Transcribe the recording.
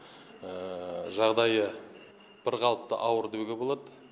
жағдайы бірқалыпты ауыр деуге болады